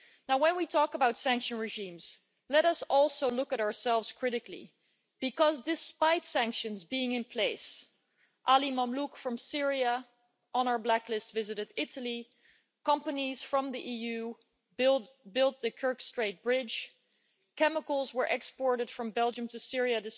When we talk about sanctions regimes, let us also look at ourselves critically because, despite sanctions being in place, Ali Mamlouk from Syria, on our blacklist, visited Italy, companies from the EU built the Kerch Strait Bridge, chemicals were exported from Belgium to Syria